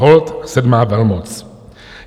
Holt sedmá velmoc.